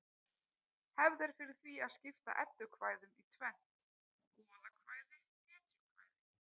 Hefð er fyrir því að skipta eddukvæðum í tvennt: goðakvæði hetjukvæði